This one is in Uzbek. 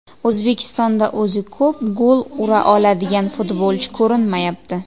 O‘zbekistonda o‘zi ko‘p gol ura oladigan futbolchi ko‘rinmayapti.